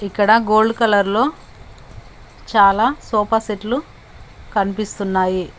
ఇక్కడ గోల్డ్ కలర్లో చాలా సోఫాసెట్లు కనిపిస్తున్నాయి.